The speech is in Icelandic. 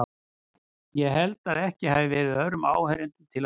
Ég held að ekki hafi verið öðrum áheyrendum til að dreifa.